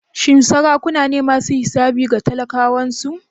Shin sarakuna ne masu hisabi ga talakawansu?